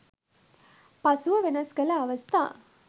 පසුව වෙනස් කළ අවස්ථා